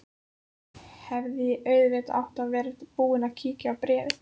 Hefði auðvitað átt að vera búin að kíkja á bréfið.